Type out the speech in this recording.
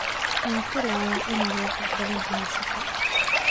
Waxaan filayaa inaad lacag badan haysato